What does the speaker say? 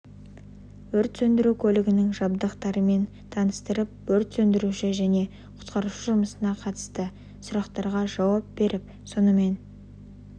өрт сөндіру көлігінің жабдықтарымен таныстырып өрт сөндіруші және құтқарушы жұмысына қатысты сұрақтарға жауап беріп сонымен